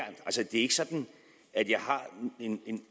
ikke sådan at